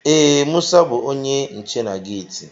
Ee, Musa bú onye nche na geeti